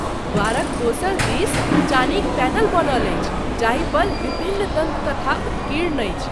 द्वारक दोसर दिस चानीक पैनल बनल अछि जाहिपर विभिन्न दन्तकथा उत्कीर्ण अछि।